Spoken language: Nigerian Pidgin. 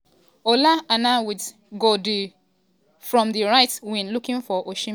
ola aina wit gooddribblefrom di right wing looking for osihmen but di ball o convert to goal.